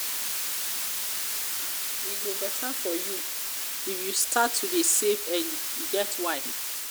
e go beta for you if you start to dey save early e get why.